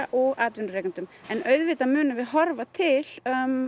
og atvinnurekendum en auðvitað munum við horfa til